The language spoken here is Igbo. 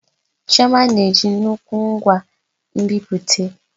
Chioma na-eji nnukwu ngwa nbipute.